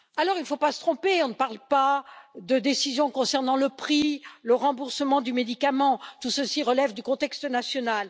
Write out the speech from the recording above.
Il ne faut pas se tromper, on ne parle pas de décision concernant le prix ou le remboursement du médicament, tout ceci relève du contexte national.